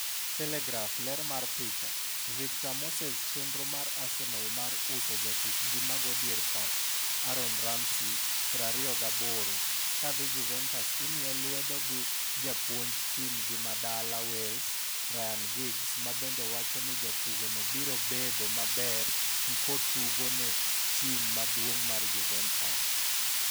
(Telegraph) Ler mar picha, Victor Moseschenro mar Arsenal mar uso jatukgi mago dier pap Aaron Ramsey, 28, kadhi Juventus imiye lwedo gi japuonj tim gi madala Wales, Ryan Giggs, mabende wacho ni jatugono biro medo bedo maber nkotugo ne tim maduong' mar Juventus.